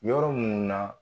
Yɔrɔ mun na